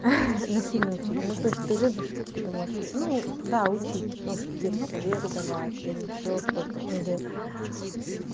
насильно учить ну то есть ты любишь какие-то может ну да учить может какие то советы давать или ещё что-то или